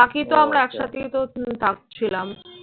বাকি তো আমরা একসাথেই তো থাকছিলাম।